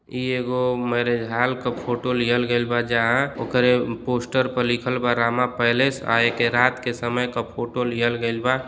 इ एगो marriage hall क फोटो लिहल गइल बा जहाँ ओकरे पोस्टर प लिखल बा रामा पैलेस आ एके रात के समय क फोटो लिहल गइल बा।